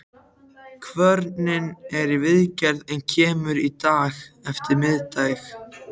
Kvörnin er í viðgerð en kemur í dag eftirmiðdag.